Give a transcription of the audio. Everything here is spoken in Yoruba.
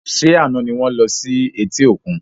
Ṣé àna ni wọn lọ sí eti òkun?